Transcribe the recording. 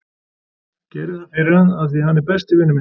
Gerði það fyrir hann af því að hann er besti vinur minn.